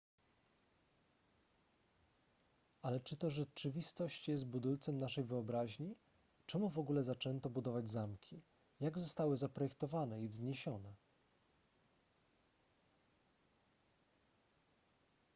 ale czy to rzeczywistość jest budulcem naszej wyobraźni czemu w ogóle zaczęto budować zamki jak zostały zaprojektowane i wzniesione